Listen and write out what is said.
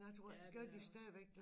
Ja det er også